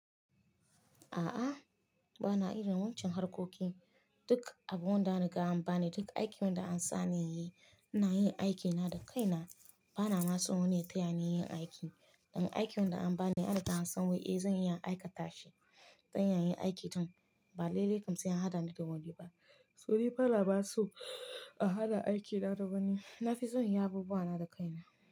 A'a, ba na irin wancan harkokin. Duk abun da an riga an bani, duk aikin da an sa in yi, ina yin aikina da kaina. Ba na mason wani ya taya ni yin aiki. Dan aikin da an bani, an riga an san wai, eh zan iya in aikata shi. Dan yana yin aiki tun ba le le kam sai an haɗa ni da wani ba. To dai ba nama so a haɗa aikina da wani. Na fi son yin abubuwa na da kaina.